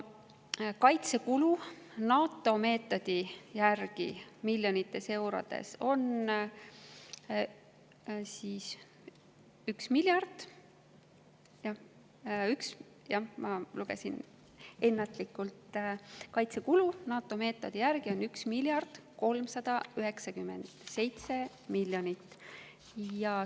Kaitsekulud NATO meetodi järgi on 1 miljard 397 miljonit.